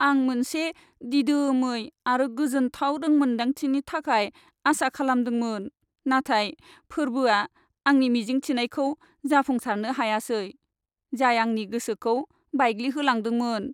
आं मोनसे दिदोमै आरो गोजोनथाव रोंमोनदांथिनि थाखाय आसा खालामदोंमोन, नाथाय फोरबोआ आंनि मिजिंथिनायखौ जाफुंसारनो हायासै, जाय आंनि गोसोखौ बायग्लिहोलांदोंमोन।